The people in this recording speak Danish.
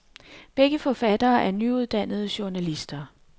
Begge forfatterne er nyuddannede journalister.